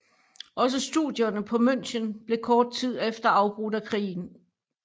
Også studierne på München blev kort tid efter afbrudt af krigen